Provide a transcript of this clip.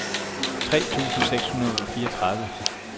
tre tusind seks hundrede og fireogtredive